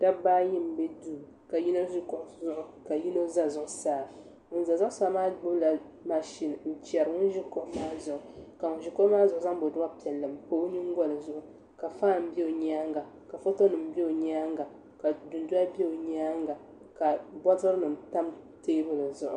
Dabba ayi n ʒi duu ka yino ʒi kuɣu zuɣu ka yino ʒɛ zuɣusaa ŋun ʒɛ zuɣusaa maa gbubila mashin n chɛri ŋun ʒi kuɣu maa zuɣu maa ka ŋun ʒi kuɣu maa zuɣu maa zaŋ boduwa piɛlli n pa o nyingoli zuɣu ka faan bɛ o nyaanga ka foto nim bɛ o nyaanga ka dundoli bɛ o nyaanga ka botili nim tam teebuli zuɣu